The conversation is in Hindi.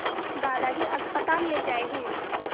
दादाजी अस्पताल ले जाए गए